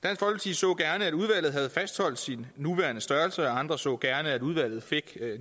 så gerne at udvalget havde fastholdt sin nuværende størrelse og andre så gerne at udvalget fik